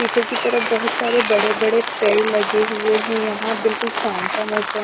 पीछे की तरफ बहुत सारे बड़े-बड़े पेड़ लगे हुए हैं यहाँ बिल्कुल शाम का मौसम--